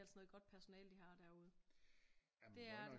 Det er altså noget godt personale de har derude